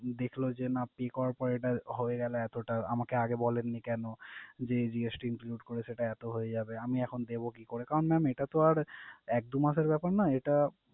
দেখলো যে না pay করার পর এটা হয়ে গেলো এতো টা~। আমাকে আগে বলেন নি কেনো যে GST include করে সেটা এতো হয়ে যাবে? আমি এখন দেবো কি করে? কারণ mam এটা তো আর এক দু মাসের ব্যাপার না এটা